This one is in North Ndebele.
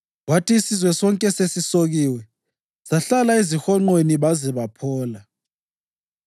Kwathi isizwe sonke sesisokiwe, sahlala ezihonqweni baze baphola.